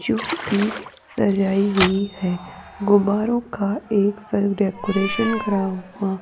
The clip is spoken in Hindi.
जो कि सजाई हुई है गुब्बारों का एक साइड डेकोरेशन करा हुआ --